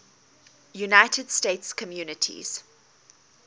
united states communities